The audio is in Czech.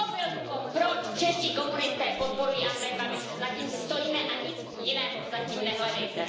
To byl důvod, proč čeští komunisté podporují Andreje Babiše, za tím si stojíme a nic jiného za tím nehledejte.